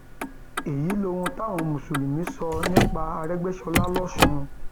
èyí lohun táwọn mùsùlùmí sọ nípa àrégbèsọlá lọsùn